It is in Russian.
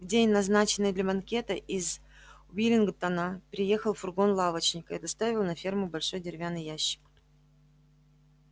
в день назначенный для банкета из уиллингдона приехал фургон лавочника и доставил на ферму большой деревянный ящик